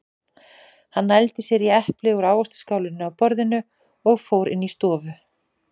Hann nældi sér í epli úr ávaxtaskálinni á borðinu og fór inn í stofu.